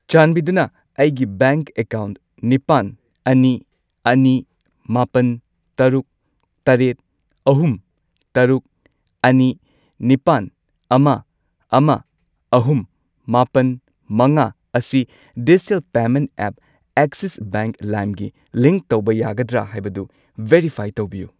ꯆꯥꯟꯕꯤꯗꯨꯅ ꯑꯩꯒꯤ bank account ꯅꯤꯄꯥꯜ, ꯑꯅꯤ, ꯑꯅꯤ, ꯃꯥꯄꯜ, ꯇꯔꯨꯛ, ꯇꯔꯦꯠ, ꯑꯍꯨꯝ, ꯇꯔꯨꯛ, ꯑꯅꯤ, ꯅꯤꯄꯥꯟ, ꯑꯃ, ꯑꯃ, ꯑꯍꯨꯝ, ꯃꯥꯄꯟ, ꯃꯉꯥ ꯑꯁꯤ digital payment app Axis bank ꯂꯥꯏꯝꯒꯤ ꯂꯤꯡꯛ ꯇꯧꯕ ꯌꯥꯒꯗ꯭ꯔꯥ ꯍꯥꯏꯕꯗꯨ ꯚꯦꯔꯤꯐꯥꯏ ꯇꯧꯕꯤꯌꯨ꯫